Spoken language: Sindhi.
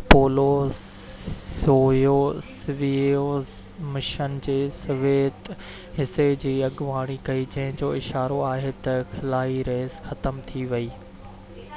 اپولو-سويوز مشن جي سويت حصي جي اڳواڻي ڪئي جنهن جو اشارو آهي تہ خلائي ريس ختم ٿي ويئي